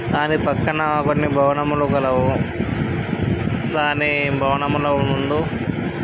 కానీ పక్కన అవన్నీ భవనములు కలవు దాని భవనములు ముందు--